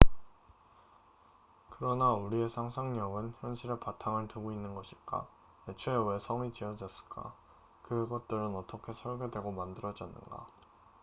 그러나 우리의 상상력은 현실에 바탕을 두고 있는 것일까? 애초에 왜 성castles이 지어졌을까? 그것들은 어떻게 설계되고 만들어졌는가?